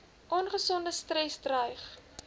ongesonde stres dreig